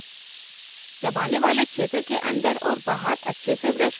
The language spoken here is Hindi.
* अगर दांतों में गर्म या ठंडा लगे